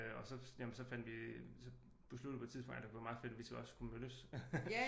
Og så jamen så fandt vi så besluttede vi på et tidspunkt ej det kunne være meget fedt at vi så også kunne mødtes